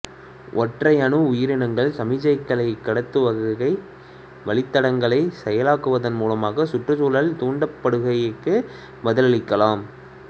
ஒற்றையணு உயிரனங்கள் சமிக்ஞை கடத்துகை வழித்தடங்களை செயலாக்குவதன் மூலமாக சுற்றுச்சூழல் தூண்டுகைக்குப் பதிலளிக்கலாம்